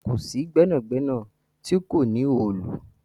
Kò sí gbẹnagbẹna tó kò ní òòlù.